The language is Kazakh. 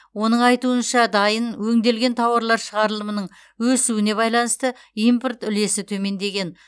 оның айтуынша дайын өңделген тауарлар шығарылымының өсуіне байланысты импорт үлесі төмендеген